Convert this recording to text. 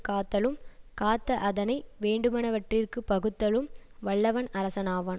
காத்தலும் காத்த அதனை வேண்டுவனவற்றிற்குப் பகுத்தலும் வல்லவன் அரசனாவான்